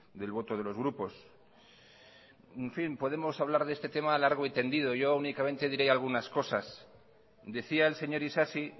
del voto de los grupos en fin podemos hablar de este tema largo y tendido yo únicamente diré algunas cosas decía el señor isasi